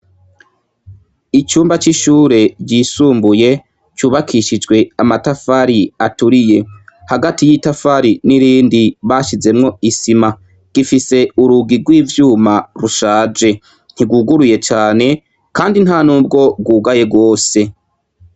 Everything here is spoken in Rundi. Icumba c'ishure ry,isumbuye cubakishijwe amatafari aturiye ,hagati yitafri nirindi bashizemwi isima gifise urugi rwivyuma rushaje ntirwuguruye cane kandi ntanubwo rwugaye rwose.